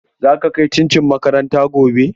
Za ka kai cincin makaranta gobe?